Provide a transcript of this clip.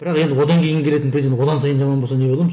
бірақ енді одан кейін келетін президент одан сайын жаман болса не боламыз